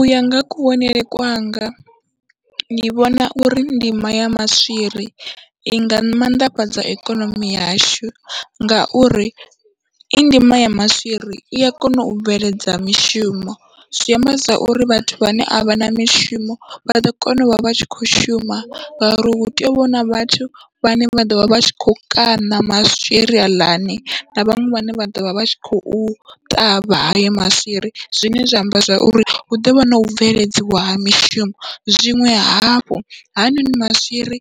Uya nga kuvhonele kwanga ndi vhona uri ndimo ya maswiri inga mannḓafhadza ikonomi yashu, ngauri i ndima ya maswiri ia kona u bveledza mishumo zwi amba zwa uri vhathu vhane a vha na mishumo vha ḓo kona uvha vha tshi kho shuma ngauri hu tea uvha huna vhathu vhane vha ḓovha vha tshi kho kaṋa maswiri haḽani na vhaṅwe vhane vha ḓovha vha tshi khou ṱavha hayo maswiri, zwine zwa amba zwa uri hu ḓovha nau bveledziwa ha mishumo. Zwiṅwe hafhu hanoni maswiri